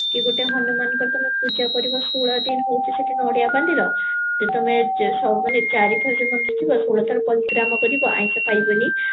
କି ଗୋଟେ ହନୁମାନଙ୍କର ତମେ ପୂଜା କରିବା ଷୋହଳ ଦିନ ହଉଚି ସେଠି ନଡିଆ ବାନ୍ଧିବ କି ତମେ ମାନେ ଚାରିଥର ଆଇଁଷ ଖାଇବନି